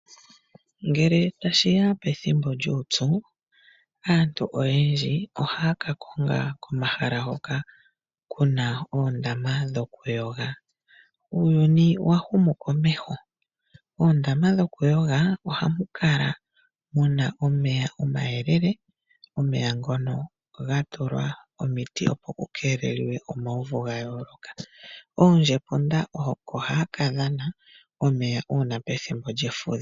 Ngele tashi ya pethimbo lyuupyu aantu oyendji ohaa ka konga omahala hoka ku na oondama dho kuyoga. Uuyuni owa huma komeho nomoondama dhokuyoga oha mu kala mu na omeya omayeelele na oha ga kala ga tulwa omiti ,opo ku keelelwe omauvu gayooloka. Mefudho oondjepunda yaahumikomeho oko haa kadhana omeya kuundama hoka.